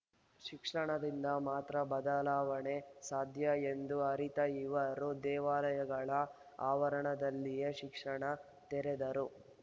ಶಿಕ್ಷಣದಿಂದ ಮಾತ್ರ ಬದಲಾವಣೆ ಸಾಧ್ಯ ಎಂದು ಅರಿತ ಇವರು ದೇವಾಲಯಗಳ ಆವರಣದಲ್ಲಿಯೇ ಶಿಕ್ಷಣ ತೆರೆದರು